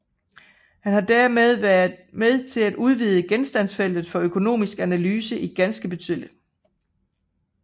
Han har dermed været med til at udvide genstandsfeltet for økonomisk analyse ganske betydeligt